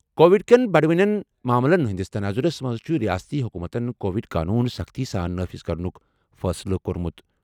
Covid کین بَڈٕوٕنیٚن معاملن ہندِس تناظرس منز چُھ رِیاستی حکوٗمتَن کووڈ قونوٗن سخٕتی سان نافذ کرنُک فٲصلہٕ کوٚرمُت۔